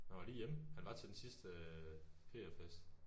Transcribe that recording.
Han var lige hjemme han var til den sidste øh pf fest